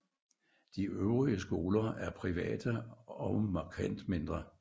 De øvrige skoler er private og markant mindre